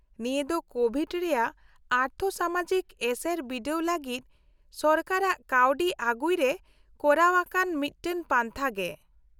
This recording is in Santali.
-ᱱᱤᱭᱟᱹ ᱫᱚ ᱠᱳᱵᱷᱤᱰ ᱨᱮᱭᱟᱜ ᱟᱨᱛᱷᱚᱼᱥᱟᱢᱟᱡᱤᱠ ᱮᱥᱮᱨ ᱵᱤᱰᱟᱹᱣ ᱞᱟᱹᱜᱤᱫ ᱥᱚᱨᱠᱟᱨᱟᱜ ᱠᱟᱹᱣᱰᱤ ᱟᱹᱜᱩᱭ ᱨᱮ ᱠᱚᱨᱟᱣᱟᱠᱟᱱ ᱢᱤᱫᱴᱟᱝ ᱯᱟᱱᱛᱷᱟ ᱜᱮ ᱾